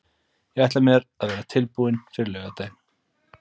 Ég ætla mér að vera tilbúinn fyrir laugardaginn.